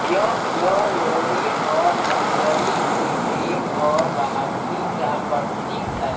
यह लोरिक और मंजरी के प्रेम और बहादुरी का प्रतीक है